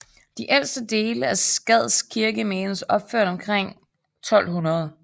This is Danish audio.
De ældste dele af Skads Kirke menes opført omkring 1200